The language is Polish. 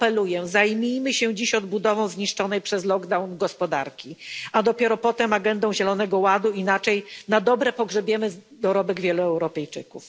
Apeluję, zajmijmy się dziś odbudową zniszczonej przez lockdown gospodarki, a dopiero potem agendą zielonego ładu, inaczej na dobre pogrzebiemy dorobek wielu Europejczyków.